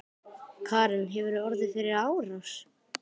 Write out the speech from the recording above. Karen: Hefurðu orðið fyrir árás?